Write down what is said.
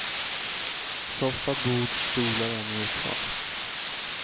Soffa, bord, stolar är neutralt.